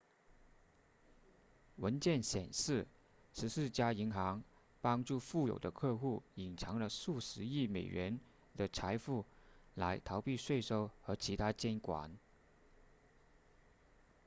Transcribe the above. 文件显示十四家银行帮助富有的客户隐藏了数十亿美元的财富来逃避税收和其它监管